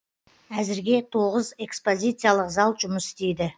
әзірге тоғыз экспозияциялық зал жұмыс істейді